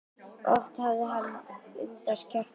Oft hafði hann undrast kjark bróður síns.